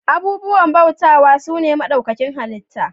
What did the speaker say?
Abubuwan bautawa su ne maɗaukakin halitta